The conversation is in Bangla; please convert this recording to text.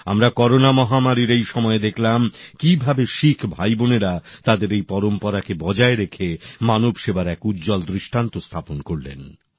আমরা করোনা মহামারীর এই সময়ে দেখলাম কিভাবে শিখ ভাই বোনেরা তাদের এই পরম্পরাকে বজায় রেখে মানবসেবার এক উজ্জ্বল দৃষ্টান্ত স্থাপন করলেন